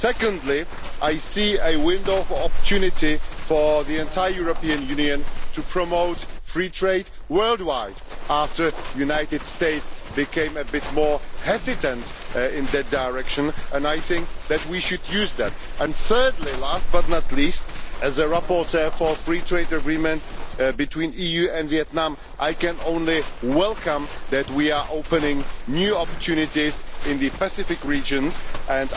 Secondly, I see a window of opportunity for the entire European Union to promote free trade worldwide, after the United States became a bit more hesitant in that direction, and I think that we should take advantage of that. And thirdly, last but not least, as a rapporteur for the free trade agreement between the EU and Vietnam, I can only welcome the fact that we are opening up new opportunities in the Pacific region, and